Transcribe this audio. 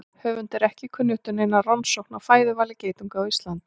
Höfundi er ekki kunnugt um neina rannsókn á fæðuvali geitunga á Íslandi.